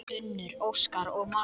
Unnur, Óskar og María.